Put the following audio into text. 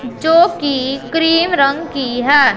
जो की क्रीम रंग की है।